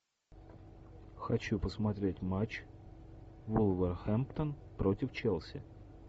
хочу посмотреть матч вулверхэмптон против челси